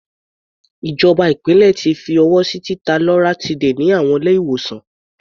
Ìjọba ìpínlẹ̀ ti fi ọwọ́ sí títa loratiday ní àwọn ilé-ìwòsàn.